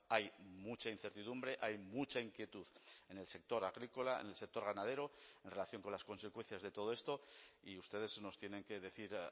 hay mucha incertidumbre hay mucha inquietud en el sector agrícola en el sector ganadero en relación con las consecuencias de todo esto y ustedes nos tienen que decir